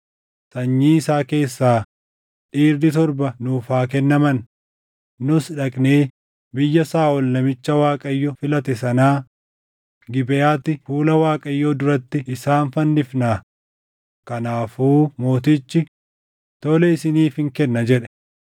sanyii isaa keessaa dhiirri torba nuuf haa kennaman; nus dhaqnee biyya Saaʼol namicha Waaqayyo filate sanaa, Gibeʼaatti fuula Waaqayyoo duratti isaan fannifnaa.” Kanaafuu mootichi, “Tole isiniifin kenna” jedhe.